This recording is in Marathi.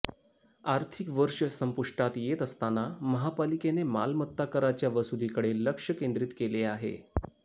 आर्थिक वर्ष संपुष्टात येत असताना महापालिकेने मालमत्ता कराच्या वसुलीकडे लक्ष केंद्रित केले आहे